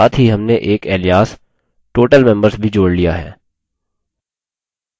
साथ ही हमने एक alias उपनाम total members भी जोड़ alias है